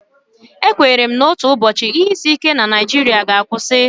Ekwenyere m na otu ụbọchị, ihe isi ike na Naijiria ga-akwụsị.